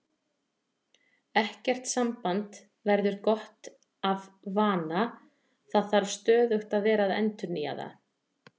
Ekkert samband verður gott af vana, það þarf stöðugt að vera að endurnýja það.